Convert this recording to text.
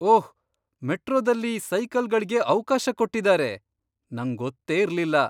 ಓಹ್! ಮೆಟ್ರೋದಲ್ಲಿ ಸೈಕಲ್ಗಳ್ಗೆ ಅವ್ಕಾಶ ಕೊಟ್ಟಿದಾರೆ. ನಂಗೊತ್ತೇ ಇರ್ಲಿಲ್ಲ.